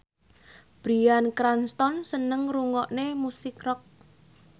Bryan Cranston seneng ngrungokne musik rock